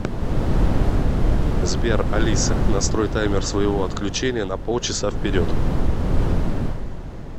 сбер алиса настрой таймер своего отключения на пол часа вперед